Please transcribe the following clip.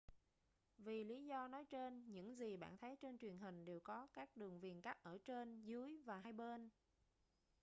vì lý do nói trên những gì bạn thấy trên truyền hình đều có các đường viền cắt ở trên dưới và hai bên